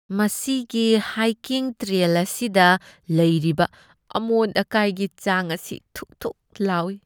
ꯃꯁꯤꯒꯤ hiking trail ꯑꯁꯤꯗ ꯂꯩꯔꯤꯕ ꯑꯃꯣꯠ ꯑꯀꯥꯏꯒꯤ ꯆꯥꯡ ꯑꯁꯤ ꯊꯨꯛ ꯊꯨꯛ ꯂꯥꯎꯢ꯫